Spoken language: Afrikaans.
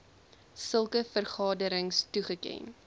sulke vergaderings toegeken